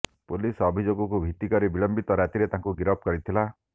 police ଅଭିଯୋଗକୁ ଭିତ୍ତିକରି ବିଳମ୍ବିତ ରାତିରେ ତାଙ୍କୁ ଗିରଫ କରିଥିଲା